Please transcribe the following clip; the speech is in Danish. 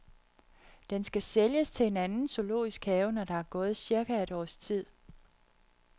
Den skal sælges til en anden zoologisk have, når der er gået cirka et års tid.